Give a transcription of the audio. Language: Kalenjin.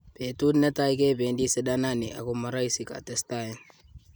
"Betut netai kebedi sidanani ako moroisi"katestai.